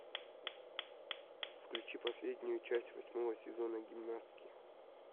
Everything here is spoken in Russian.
включи последнюю часть восьмого сезона гимнастки